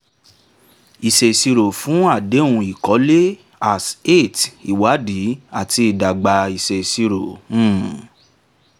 ìṣèṣirò fún àdéhùn ìkọ́lé as-8 ìwádìí àti ìdàgbà ìṣèṣirò um